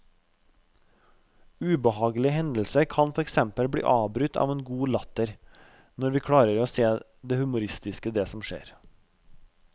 Ubehagelige hendelser kan for eksempel bli avbrutt av en god latter når vi klarer å se det humoristiske i det som skjer.